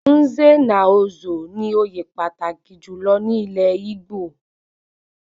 Nze na Ozo ní òye pàtàkì jùlọ ní ilé Igbo